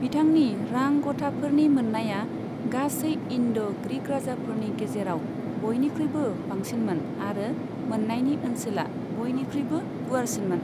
बिथांनि रां गथाफोरनि मोन्नाया गासै इन्ड' ग्रीक राजाफोरनि गेजेराव बयनिख्रुुइबो बांसिनमोन आरो मोन्नायनि ओनसोला बयनिख्रुइबो गुवारसिनमोन।